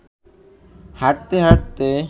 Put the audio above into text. হাঁটতে হাঁটতে